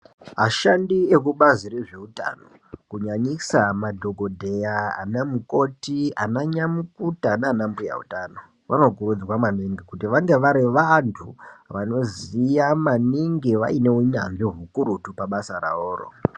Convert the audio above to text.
Ashandi eku bazi re zveutano kunyanyisa madhokodheya ana mukoti ana nyamukuta nana mbuya utano vano kurudzirwa maningi kuti vange vari vantu vano ziya maningi vaine unyanzvi ukurutu pa basa ravoro.